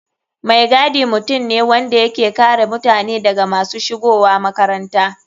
Mai gadi mutum ne wanda yake kare mutane daga masu shigowa makaranta.